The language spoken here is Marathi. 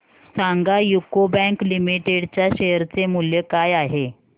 सांगा यूको बँक लिमिटेड च्या शेअर चे मूल्य काय आहे